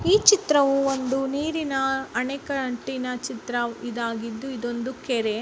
ಈ ಚಿತ್ರವು ಒಂದು ನೀರಿನ ಅನೇಕ ಅಂಟಿನ ಚಿತ್ರ ಇದಾಗಿದ್ದು ಇದೊಂದು ಕೆರೆ.